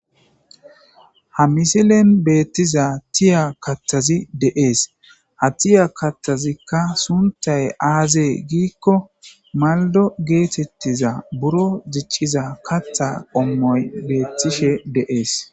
ha misilen beettiza tiya kathazi deees ha tiya katthazikka suntay aazee giikko maldo geetettiza buro ziciza katha qommoy beettishe de7ees